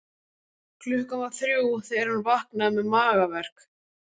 Klukkan var þrjú þegar hann vaknaði með magaverk.